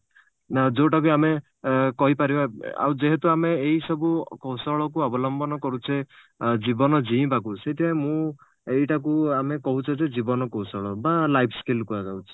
ଆ ଯଉଟା ବି ଆମେ ଏ କହିପାରିବା ଆଉ ଯେହେତୁ ଆମେ ଏଇ ସବୁ କୌଶଳକୁ ଅବଲମ୍ବନ କରୁଛେ ଜୀବନ ଜିଇଁବାକୁ ସେଥିପାଇଁ ମୁଁ ଏଇଟାକୁ ଆମେ କହୁଛେ ଯେ ଜୀବନ କୌଶଳ ବା life skill କୁହାଯାଉଛି